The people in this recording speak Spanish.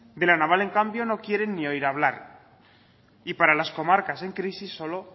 de la naval en cambio no quieren ni oír hablar y para las comarcas en crisis solo